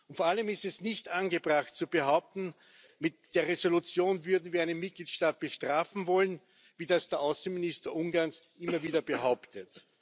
Und vor allem ist es nicht angebracht, zu behaupten, mit der Entschließung würden wir einen Mitgliedstaat bestrafen wollen, wie das der Außenminister Ungarns immer wieder behauptet.